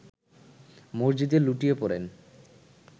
মসজিদে লুটিয়ে পড়েন